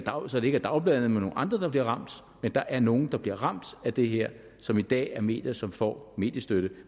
er dagbladene men nogle andre der bliver ramt men der er nogle der bliver ramt af det her som i dag er medier som får mediestøtte